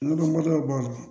Ludu mɔdɛliw b'a la